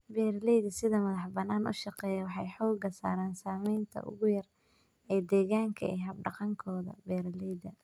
Beeralayda si madax banaan u shaqeeya waxay xooga saaraan saamaynta ugu yar ee deegaanka ee hab dhaqankooda beeralayda.